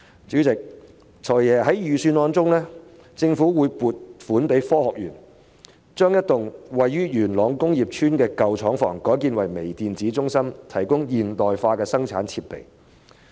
主席，"財爺"在預算案中提到政府將會撥款予香港科技園公司，把一幢位於元朗工業邨的舊廠房改建為微電子中心，提供現代化的生產設備。